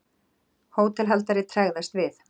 Hótelhaldari tregðast við.